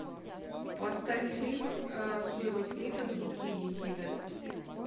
поставь фильм с уиллом смитом дикий дикий вест